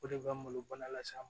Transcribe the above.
O de bɛ n bolo bana lase a ma